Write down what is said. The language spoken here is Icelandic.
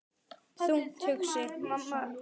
Þungt hugsi?